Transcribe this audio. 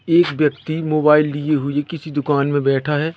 एक व्यक्ति मोबाइल लिए हुए किसी दुकान में बैठा है।